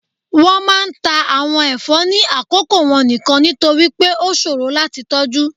wọn máà ń ta awon ẹfọ ni akoko wọn nikan, nitori pe o ṣoro lati tọju.